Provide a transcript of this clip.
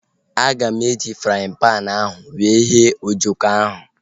Aga m eji fraaịn panu ahu were ghee ojoko ahu